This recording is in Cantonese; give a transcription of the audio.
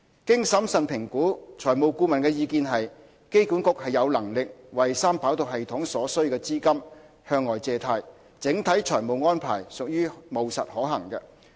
經審慎評估，財務顧問的意見是，機管局有能力為三跑道系統所需資金向外借貸，整體財務安排屬務實可行。